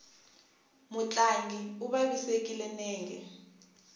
mutlangi u vavisekile nenge